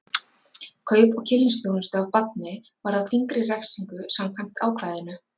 Kaup á kynlífsþjónustu af barni varðar þyngri refsingu samkvæmt ákvæðinu.